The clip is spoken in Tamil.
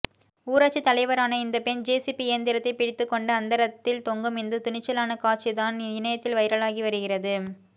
ஊராட்சி தலைவரான இந்த பெண் ஜேசிபி இயந்திரத்தைபிடித்து கொண்டு அந்தரத்தில் தொங்கும் இந்த துணிச்சலான காட்சிதான் இணையத்தில் வைரலாகி வருகிறது